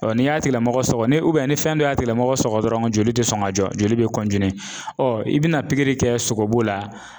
n'i y'a tigi lamɔgɔ sɔgɔ ni ni fɛn dɔ y'a tigi lamɔgɔ sɔgɔ dɔrɔn joli tɛ sɔn ka jɔ joli bɛ i bɛna pikiri kɛ sogobu la